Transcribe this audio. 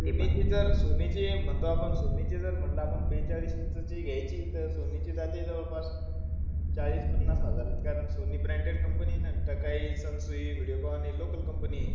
सोनीची जर, सोनीची म्हणता आपण सोनीची जर म्हणलं आपण बेचाळीस इंचची घ्यायची, तर सोनीची जाते जवळपास चाळीस -पन्नास हजारात. कारण सोनी branded company. तर काही संसुई, व्हिडिओकॉन हि local companies आहे.